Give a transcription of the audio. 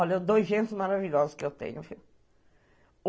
Olha, dois gêneros maravilhosos que eu tenho.